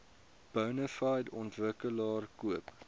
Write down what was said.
bonafide ontwikkelaar koop